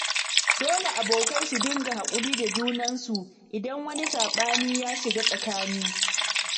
Dole abokai su dinga haƙuri da junansu, idan wani saɓani ya shiga tsakani.